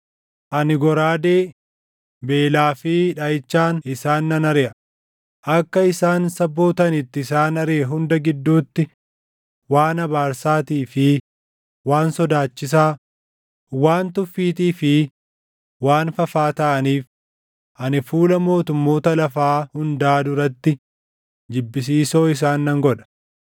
Ani goraadee, beelaa fi dhaʼichaan isaan nan ariʼa; akka isaan saboota ani itti isaan ariʼe hunda gidduutti waan abaarsaatii fi waan sodaachisaa, waan tuffiitii fi waan fafaa taʼaniif ani fuula mootummoota lafaa hundaa duratti jibbisiisoo isaan nan godha.